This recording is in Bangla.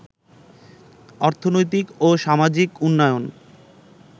অর্থনৈতিক ও সামাজিক উন্নয়ন